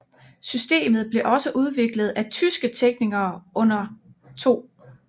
Systemet blev også udviklet af tyske teknikere under 2